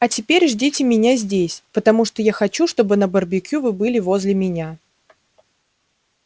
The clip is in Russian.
а теперь ждите меня здесь потому что я хочу чтобы на барбекю вы были возле меня